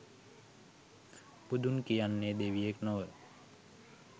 බුදුන් කියන්නේ දෙවියෙක් නොව